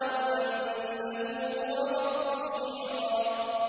وَأَنَّهُ هُوَ رَبُّ الشِّعْرَىٰ